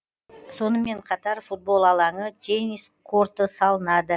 сонымен қатар футбол алаңы теннис корты салынады